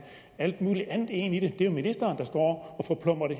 alt muligt andet ind i det det er ministeren der står og forplumrer det